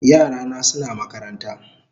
Yara na suna makaranta